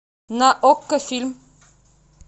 на окко фильм